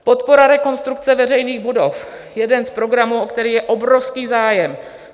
Podpora rekonstrukce veřejných budov, jeden z programů, o které je obrovský zájem.